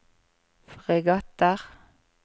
fregatter